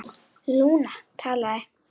Lúna talaði: